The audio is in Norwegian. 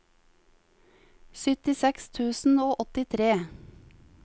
syttiseks tusen og åttitre